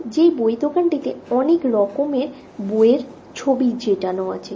যে বই দোকানটাতে অনেক রকমের বইয়ের ছবি চেটানো আছে।